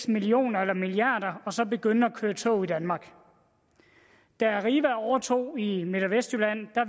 millioner eller milliarder og så begynde at køre tog i danmark da arriva overtog i midt og vestjylland